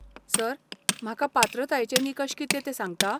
Sir, म्हाका पात्रतायेचे निकश कितें ते सांगता?